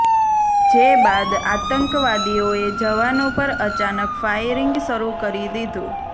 જે બાદ આતંકવાદીઓએ જવાનો પર અચાનક ફાયરિંગ શરૂ કરી દીધુ